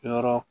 Yɔrɔ